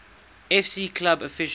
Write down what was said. fc club official